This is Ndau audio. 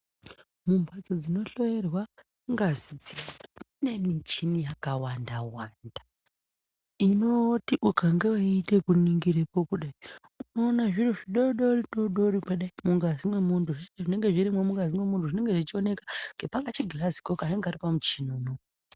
Mumbatso dzinohloiwa ngazi mune michini yakawanda wanda inoti ukange weiningirapo kudai unoona zviro zvidodori pangazi wemundu zvinenge zvichionekera ngapakachigirazi kanenge Kari pamuchini unowu.